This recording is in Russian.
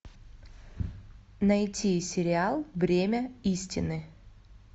найти сериал бремя истины